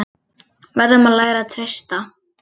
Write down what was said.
Verðum að læra að treysta